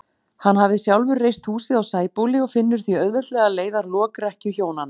Hann hafði sjálfur reist húsið á Sæbóli og finnur því auðveldlega leið að lokrekkju hjónanna.